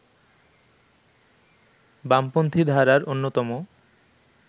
বামপন্থী ধারার অন্যতম